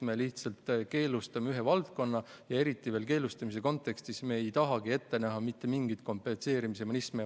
Me lihtsalt keelustame ühe valdkonna, ent selle keelustamise kontekstis me ei taha ette näha mitte mingit kompenseerimismehhanismi.